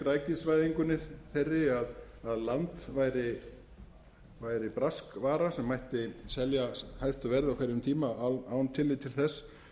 græðgisvæðingunni þeirri að land væri braskvara sem mætti selja hæstu verði á hverjum tíma án tillits til þess